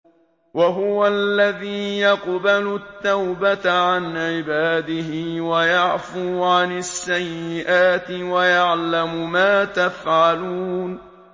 وَهُوَ الَّذِي يَقْبَلُ التَّوْبَةَ عَنْ عِبَادِهِ وَيَعْفُو عَنِ السَّيِّئَاتِ وَيَعْلَمُ مَا تَفْعَلُونَ